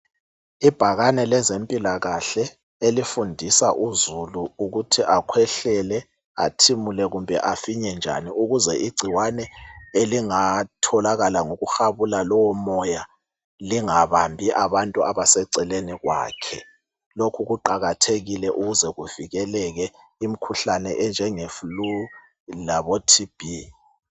Ibhakane lezempilakahle elifundisa uzulu ukuthi akhwehlele, athimule kumbe afinye njani ukuze igcikwane elingatholakala ngokuhabula lowo moya lingabambi abantu abaseceleni kwakhe, lokhu kuqakathekile ukuze kuvikeleke imkhuhlane enjenge flue labo TB.